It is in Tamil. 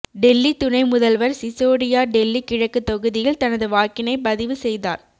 டெல்லி துணை முதல்வர் சிசோடியா டெல்லி கிழக்கு தொகுதியில் தனது வாக்கினை பதிவு செய்தார்